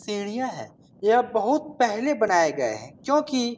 सीढियां हैं। यह बहुत पहले बनाये गये हैं क्योंकि --